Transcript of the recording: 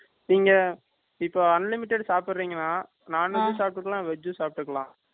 நீங்க, இப்போ, unlimited சாப்பிடுறீங்கனா. Non Veg um சாப்பிட்டுக்கலாம். Veg சாப்பிட்டுக்கலாம்